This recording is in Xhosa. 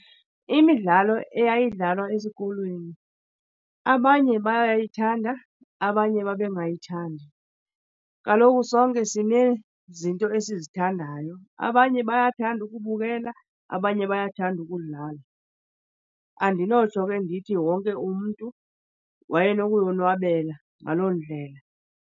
Imidlalo eyayidlalwa esikolweni abanye bayayithanda, abanye babengayithandi. Kaloku sonke sinezinto esizithandayo. Abanye bayathanda ukubukela, abanye bayathanda ukudlala. Andinotsho ke ndithi wonke umntu wayenokuyonwabela ngaloo ndlela.